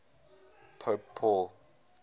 pope paul